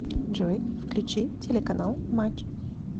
джой включи телеканал матч